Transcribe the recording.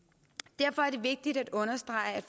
derfor er det vigtigt at understrege at